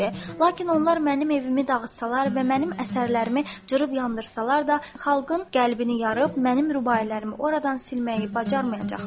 Lakin onlar mənim evimi dağıtsalar və mənim əsərlərimi cırıb yandırsalar da, xalqın qəlbini yarıb, mənim rübailərimi oradan silməyi bacarmayacaqlar.